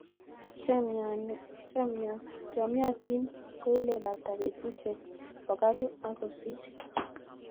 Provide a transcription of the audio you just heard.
Cheyomyotin koilebata betusiek pokolu ak kosir